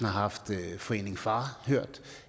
har haft hørt foreningen far